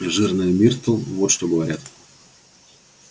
жирная миртл вот что говорят